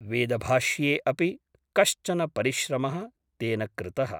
वेदभाष्ये अपि कश्चन परिश्रमः तेन कृतः ।